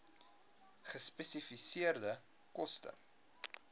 gespesifiseerde koste